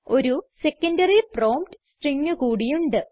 ഒരു secondary prompt string കൂടി ഉണ്ട്